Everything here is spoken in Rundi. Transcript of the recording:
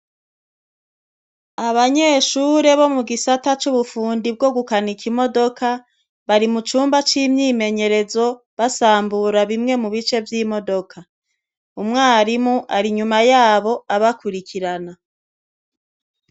Abanyeshure bomugisata c'ubufundi bwogukinika imodoka, bari mucumba c'imyimenyerezo basambura bimwe mubice vy'imodoka, Umwarimu arinyuma yabo abakurikirana.